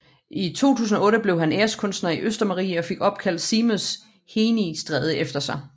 I 2008 blev han æreskunstner i Østermarie og fik opkaldt Seamus Heaney Stræde efter sig